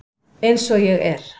Eins og ég er.